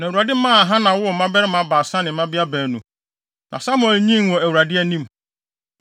Na Awurade maa Hana woo mmabarima baasa ne mmabea baanu. Na Samuel nyinii wɔ Awurade anim.